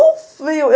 O frio!